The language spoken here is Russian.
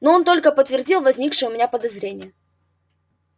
ну он только подтвердил возникшее у меня подозрение